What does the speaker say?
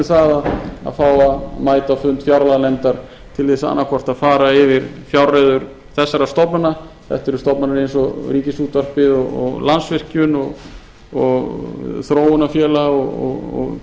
það að fá að mæta á fund fjárlaganefndar til ber sannaðhvort að fara yfir fjárreiður þessara stofnana þetta eru stofnanir eins og ríkisútvarpið landsvirkjun þróunarfélag